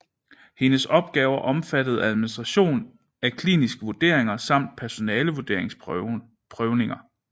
Hendes opgaver omfattede administration af kliniske vurderinger samt personale vurderings prøvninger